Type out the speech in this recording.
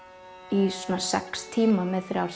í svona sex tíma með þrjár